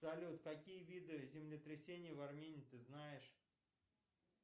салют какие виды землетрясений в армении ты знаешь